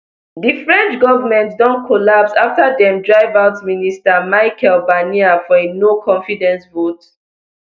di french govment don collapse afta dem drive out prime minister michel barnier for a noconfidence vote